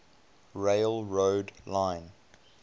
rail road line